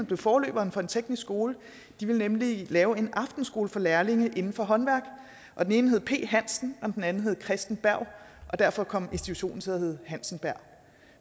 blev forløberen for en teknisk skole de ville nemlig lave en aftenskole for lærlinge inden for håndværk og den ene hed p hansen og den anden hed chresten berg og derfor kom institutionen til at hedde hansenberg